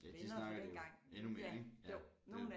Ja de snakker det jo endnu mere ikke ja det